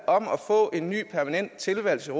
om at få en ny permanent tilværelse i